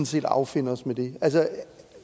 set affinde os med det